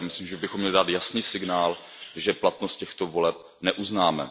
Já myslím, že bychom měli dát jasný signál, že platnost těchto voleb neuznáme.